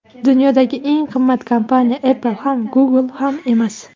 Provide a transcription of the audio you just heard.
Dunyodagi eng qimmat kompaniya Apple ham, Google ham emas.